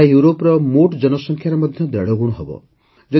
ଏହା ୟୁରୋପର ମୋଟ ଜନସଂଖ୍ୟାର ମଧ୍ୟ ଦେଢ଼ଗୁଣ ହେବ